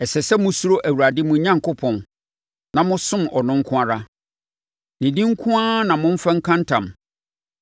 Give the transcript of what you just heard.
Ɛsɛ sɛ mosuro Awurade, mo Onyankopɔn, na mosom ɔno nko ara. Ne din nko ara na momfa nka ntam.